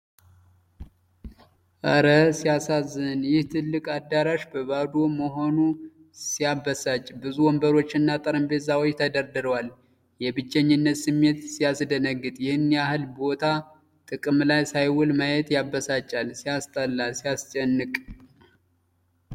እረ ሲያሳዝን! ይህ ትልቅ አዳራሽ ባዶ መሆኑ ሲያበሳጭ! ብዙ ወንበሮችና ጠረጴዛዎች ተደርድረዋል። የብቸኝነት ስሜት ሲያስደነግጥ! ይህን ያህል ቦታ ጥቅም ላይ ሳይውል ማየት ያበሳጫል። ሲያስጠላ! ሲያስጨንቅ!